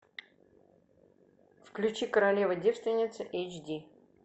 включи королева девственница эйч ди